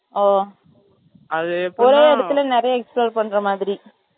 ஓ, அது ஒரே இடத்துல நிறைய explore பண்ற மாதிரி